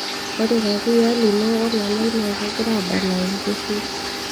ore kakuyia lino o lalai naa kegira aadala enkeshui